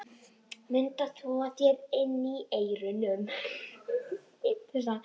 Mundu að þvo þér inni í eyrunum.